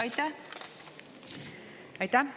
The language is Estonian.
Aitäh!